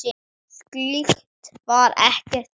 Slíkt var ekki gert.